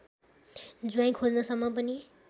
ज्वाईँ खोज्नसम्म पनि